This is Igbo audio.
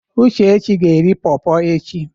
Uchechi ga eri pọrpọr echi.